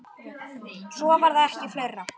Svo var það ekki fleira.